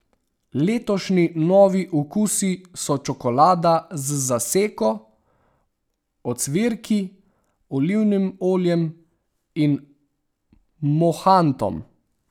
Letošnji novi okusi so čokolada z zaseko, ocvirki, olivnim oljem in mohantom.